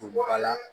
Don bɔ a la